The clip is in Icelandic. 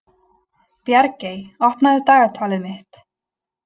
Bjargey, opnaðu dagatalið mitt.